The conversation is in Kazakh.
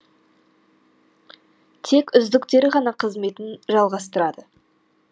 тек үздіктері ғана қызметін жалғастырады